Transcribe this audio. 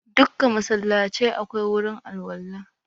Dukka masallacai akwai gurin alwala.